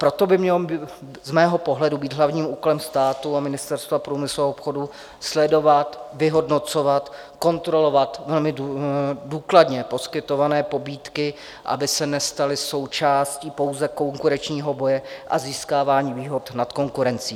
Proto by mělo z mého pohledu být hlavním úkolem státu a Ministerstva průmyslu a obchodu sledovat, vyhodnocovat, kontrolovat, velmi důkladně poskytované pobídky, aby se nestaly součástí pouze konkurenčního boje a získávání výhod nad konkurencí.